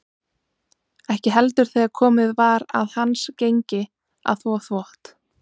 Ekki heldur þegar komið var að hans gengi að þvo þvott.